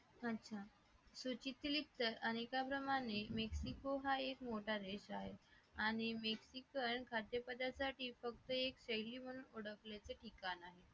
अच्छा सूचीतील युक्त अनेकाप्रमाणे पोहा एक मोठा आहे आणि बेसिकल खाद्यपदार्थासाठी फक्त एक शैली म्हणून ओळखल्याच एक ठिकाण आहे